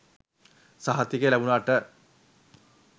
සහතික ලැබුනාට